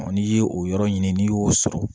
n'i ye o yɔrɔ ɲini n'i y'o sɔrɔ